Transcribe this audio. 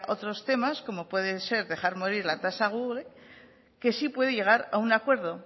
otros temas como puede ser dejar morir la tasa google que sí puede llegar a un acuerdo